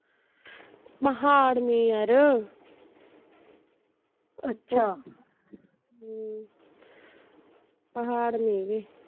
ਪਹਾੜ ਨੇ ਯਾਰ ਪਹਾੜ ਨੇ ਗੇ